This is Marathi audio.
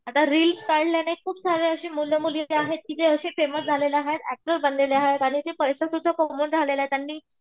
आता रिल्स काढल्याने खूप म्हणजे अशी मुलं मुली आहेत की जे असे फेमस झालेले आहेत ऍक्टर बनलेले आहेत आणि ते पैसे सुद्धा कमवून राहिलेले आहेत त्यांनी